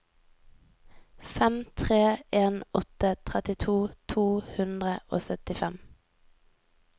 fem tre en åtte trettito to hundre og syttifem